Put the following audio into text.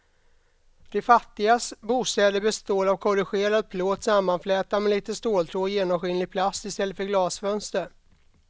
De fattigas bostäder består av korrugerad plåt sammanflätad med lite ståltråd och genomskinlig plast i stället för glasfönster.